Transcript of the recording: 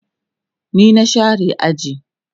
ni na share aji